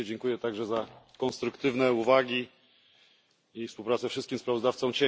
Oczywiście dziękuję także za konstruktywne uwagi i współpracę wszystkim kontrsprawozdawcom.